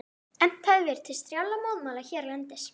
Efnt hafði verið til strjálla mótmæla hérlendis.